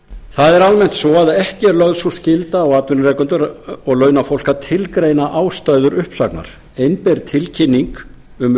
það er almennt svo að ekki er lögð sú skylda á atvinnurekendur og launafólk að tilgreina ástæður uppsagnar einber tilkynning um